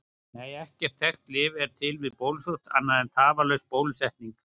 Nei, ekkert þekkt lyf er til við bólusótt annað en tafarlaus bólusetning.